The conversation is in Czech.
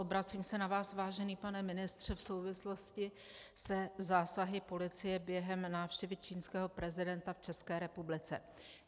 Obracím se na vás, vážený pane ministře, v souvislosti se zásahy policie během návštěvy čínského prezidenta v České republice.